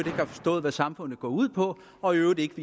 har forstået hvad samfundet går ud på og i øvrigt ikke